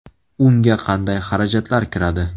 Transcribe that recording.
Unga qanday xarajatlar kiradi?